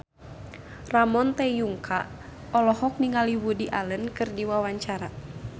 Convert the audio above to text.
Ramon T. Yungka olohok ningali Woody Allen keur diwawancara